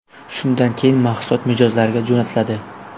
Shundan keyin mahsulot mijozlarga jo‘natiladi.